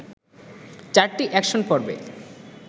চারটি অ্যাকশন পর্বে